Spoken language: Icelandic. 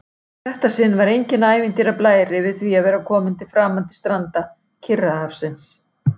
Í þetta sinn var enginn ævintýrablær yfir því að vera komin til framandi stranda Kyrrahafsins.